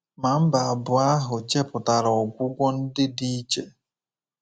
Ma mba abụọ ahụ chepụtara ọgwụgwọ ndị dị iche.